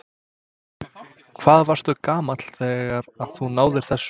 Hvað varstu gamall þegar að þú náðir þessu?